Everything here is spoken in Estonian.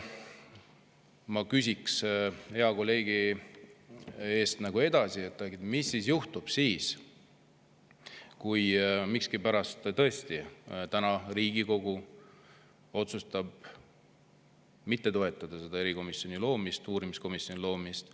Ma küsiks hea kolleegi eest nagu edasi, mis juhtub siis, kui miskipärast tõesti täna Riigikogu otsustab mitte toetada selle uurimiskomisjoni loomist.